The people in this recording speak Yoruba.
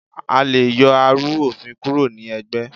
a lẹ yoo arú-ofín kúró ní ẹgbé